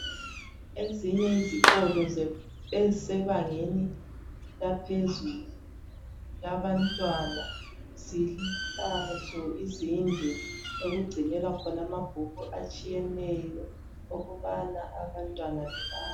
Ezinye izikolo ezisebangeni laphezulu labantwana zilazo izindlu okugcinelwa khona amabhuku atshiyeneyo ukubana abantwana bebale.